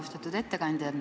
Austatud ettekandja!